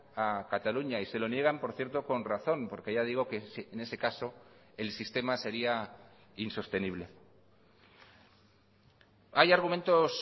a cataluña y se lo niegan por cierto con razón porque ya digo que en ese caso el sistema sería insostenible hay argumentos